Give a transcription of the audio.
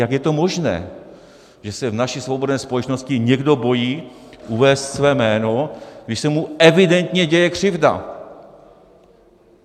Jak je to možné, že se v naší svobodné společnosti někdo bojí uvést své jméno, když se mu evidentně děje křivda?